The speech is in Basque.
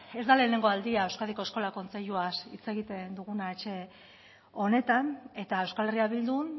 ez da lehenengo aldia euskadiko eskola kontseiluaz hitz egiten duguna etxe honetan eta euskal herria bildun